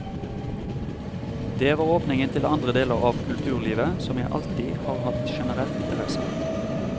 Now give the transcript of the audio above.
Det var åpningen til andre deler av kulturlivet som jeg alltid har hatt generell interesse av.